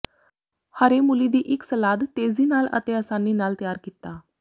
ਹਰੇ ਮੂਲੀ ਦੀ ਇੱਕ ਸਲਾਦ ਤੇਜ਼ੀ ਨਾਲ ਅਤੇ ਆਸਾਨੀ ਨਾਲ ਤਿਆਰ ਕੀਤਾ